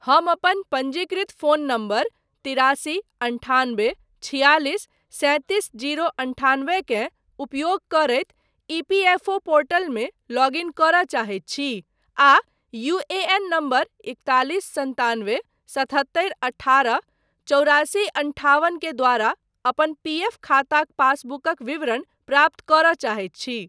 हम अपन पञ्जीकृत फोन नम्बर तिरासी अन्ठान्बे छियालिस सैंतीस जीरो अन्ठान्बे के उपयोग करैत ईपीएफओ पोर्टलमे लॉग इन करय चाहैत छी आ यूएएन नम्बर इकतालिस सन्तानबे सतहत्तरी अठारह चौरासी अंठावन के द्वारा अपन पीएफ खाताक पासबुकक विवरण प्राप्त करय चाहैत छी।